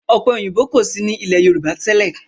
Ọ̀pẹ òyìnbó kò sí ní ilé Yorùbá tẹ́lẹ̀.